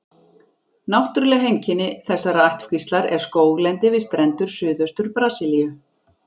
Náttúruleg heimkynni þessarar ættkvíslar er skóglendi við strendur Suðaustur-Brasilíu.